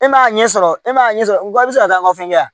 E m'a ɲɛsɔrɔ e m'a ɲɛ sɔrɔ i bɛ se ka taa an ka fɛn kɛ yan